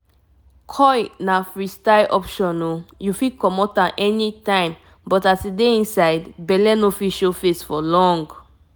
coil na free-style option you fit comot am anytime but as e dey inside belle no fit show face show face for long um.